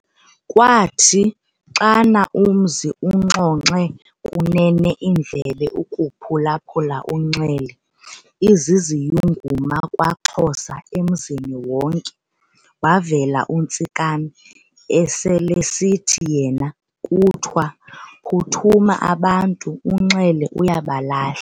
Kwathi xana umzi uxonxe kunene iindlebe ukuphula-phula uNxele, iziziyunguma KwaXhosaemzini wonke, wavela uNtsikana, eselesithi yena kuthiwa- "Phuthuma abantu, uNxele uyabalahla."